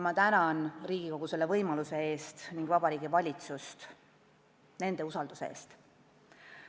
Ma tänan Riigikogu selle võimaluse eest ning Vabariigi Valitsust nende usalduse eest.